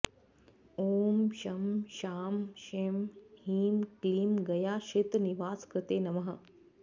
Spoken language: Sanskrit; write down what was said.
ॐ शं शां षं ह्रीं क्लीं गयाक्षेत्रनिवासकृते नमः